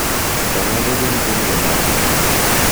To mago gin pinje mage?